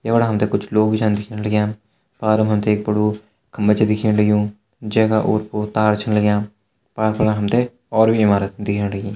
यफणा हमते कुछ लोग भी छन दिखेण लग्याँ अर हमते एक बड़ु खंभा च दिखेण लग्युं जैका ओर पोर तार छन लगीं पार फणा हमते और भी इमारत दिखेण लगीं।